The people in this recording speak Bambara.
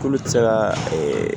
K'olu tɛ se ka ee